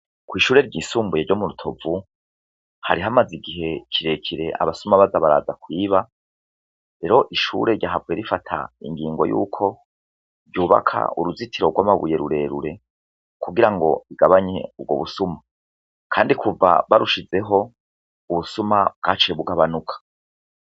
Kw'ishure ry'isumbuye ryo mu rutovu hari hamaze igihe kirekere abasuma baza baraza kwiba ero ishure ryahavuwe rifata ingingo yuko ryubaka uruzitiro rw'amabuye rurerure kugira ngo bigabanye urwo busuma, kandi kuva barushizeho ubusuma bwace bugabanuka.